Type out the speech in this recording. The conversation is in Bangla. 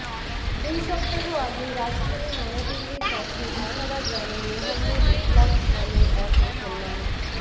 দুই সপ্তাহ আগে রাজধানী নয়াদিল্লির কাছে বিসারা গ্রামে মোহাম্মদ ইকলাখ নামের এক মুসলমান